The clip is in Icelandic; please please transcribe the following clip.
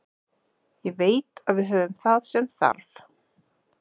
Ég veit að við höfum það sem þarf.